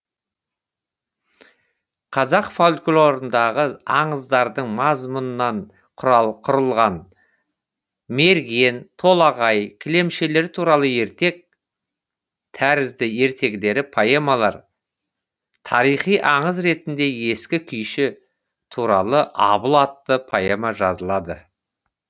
қазақ фольклорындағы аңыздардың мазмұнынан құрылған мерген толағай кілемшілер туралы ертек тәрізді ертегілі поэмалар тарихи аңыз ретінде ескі күйші туралы абыл атты поэма жазылады